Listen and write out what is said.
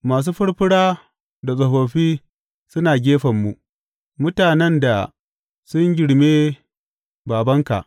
Masu furfura da tsofaffi suna gefenmu mutanen da sun girme babanka.